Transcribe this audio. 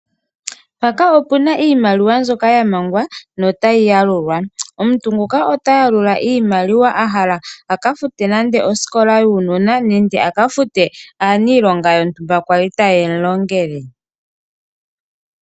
Mpaka opena iimaliwa mbyoka ya mangwa notayi yalulwa, omuntu nguka ota yalula iimaliwa ahala aka fute nande osikola yuunona nenge aka fute aaniilonga yontumba kwali taye mu longele.